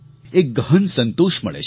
એક ગહન સંતોષ મળે છે